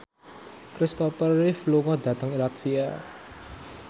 Kristopher Reeve lunga dhateng latvia